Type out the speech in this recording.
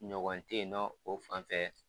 Ɲɔgɔn te yen nɔn o fanfɛ